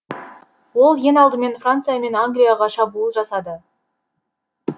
ол ең алдымен франция мен англияға шабуыл жасады